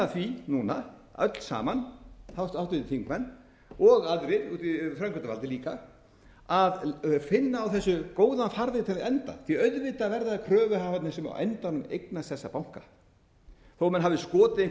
því núna öll saman háttvirtir þingmenn og aðrir framkvæmdavaldið líka að finna á þessu góðan farveg til að enda því auðvitað verða það kröfuhafarnir sem á endanum sem eignast þessa banka þó menn hafi skotið einhverju